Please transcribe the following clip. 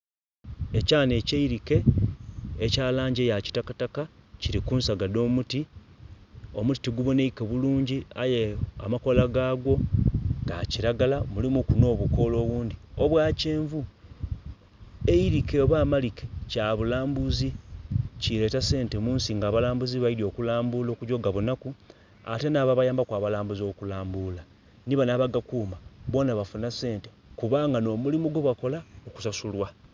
Ekyaana ekyeirike ekiri mu langi eya kisitaka kiri ku nsaga edha omuti, omuti tigubonaike bulungi aye amakoola gagwo ga kiragala mulimu ku nobukoola obundhi obwa kyenvu eirike oba amalike kya bulambuzi, kireta sente mu nsi nga abalambuzi baidya oku lambula okugya okugabonaku, ate nha babayambaku abalambuzi kulambuula, nhi banho abagakuuma boonha abafuma sente kubanga nomulimu gwebakola okusasulwa.